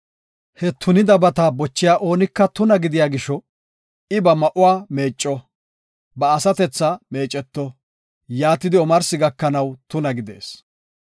He tunidabata bochiya oonika tuna gidiya gisho I ba ma7uwa meecco; ba asatethaa meeceto; yaatidi omarsi gakanaw tuna gidees.